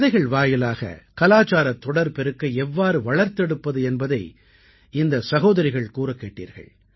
கதைகள் வாயிலாக கலாச்சாரத் தொடர் பெருக்கை எவ்வாறு வளர்த்தெடுப்பது என்பதை இந்த சகோதரிகள் கூறக் கேட்டீர்கள்